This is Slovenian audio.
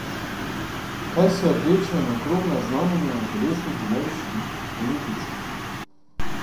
Kaj so rdeča in okrogla znamenja na telesnih ameriških olimpijcev?